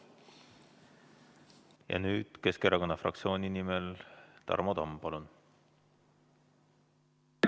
Ja nüüd Keskerakonna fraktsiooni nimel Tarmo Tamm, palun!